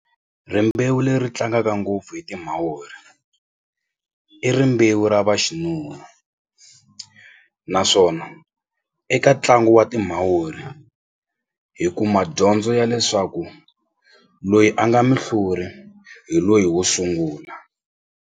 Rimbewu leri tlangaka ngopfu hi timawuri i rimbewu ra vaxinuna naswona eka ntlangu wa timawuri hi kuma dyondzo ya leswaku loyi a nga muhluri hi loyi wo sungula.